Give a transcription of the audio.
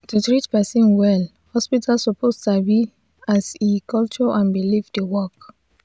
to treat person well hospital suppose sabi as e culture and belief dey work.